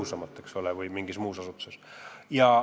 Sama käib muude asutuste kohta.